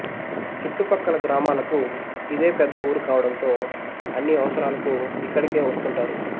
చుట్టుపక్కల గ్రామాలకు ఇదే పెద్ద ఊరు కావడంతో అన్ని అవసరాలకు ఇక్కడికే వస్తుంటారు